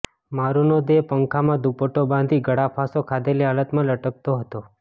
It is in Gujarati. મારૂનો દેહ પંખામાં દુપટ્ટો બાંધી ગળાફાંસો ખાધેલી હાલતમાં લટકતો હતો